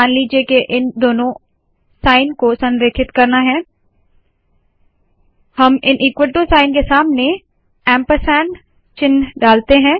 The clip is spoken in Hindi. मान लीजिए के इन दोनों साइन को संरेखित करना है हम इन ईक्वल टू साइन के सामने ऐंपरसैंड चिन्ह डालते है